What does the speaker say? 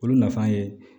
Olu nafan ye